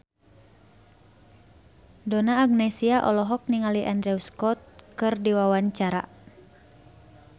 Donna Agnesia olohok ningali Andrew Scott keur diwawancara